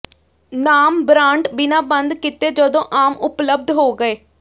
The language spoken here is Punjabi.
ਨਾਮ ਬਰਾਂਡ ਬਿਨਾਂ ਬੰਦ ਕੀਤੇ ਜਦੋਂ ਆਮ ਉਪਲਬਧ ਹੋ ਗਏ